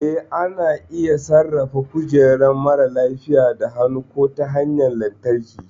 Eh, ana iya sarrafa kujerar marar lafiya da hannu ko ta hanyar lantarki.